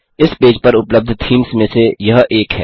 इस पेज पर उपलब्ध थीम्स में से यह एक है